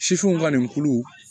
Sifinw ka nin kulu